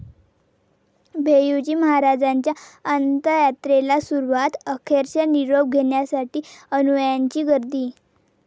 भैय्यूजी महाराजांच्या अंतयात्रेला सुरूवात, अखेरचा निरोप घेण्यासाठी अनुयायांची गर्दी